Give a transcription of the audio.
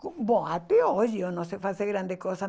Bom, até hoje eu não sei fazer grande coisa.